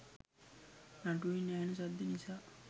නටුවෙන් ඇහෙන සද්දේ නිසා